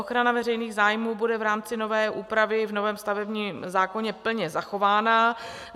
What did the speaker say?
Ochrana veřejných zájmů bude v rámci nové úpravy v novém stavebním zákoně plně zachována.